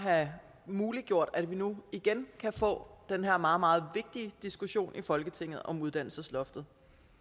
at have muliggjort at vi nu igen kan få den her meget meget vigtige diskussion i folketinget om uddannelsesloftet